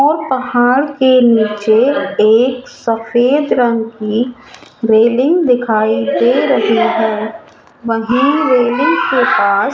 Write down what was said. और पहाड़ के नीचे एक सफेद रंग की रेलिंग दिखाई दे रही है वहीं रेलिंग के पास--